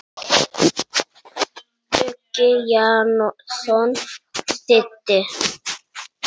Uggi Jónsson þýddi.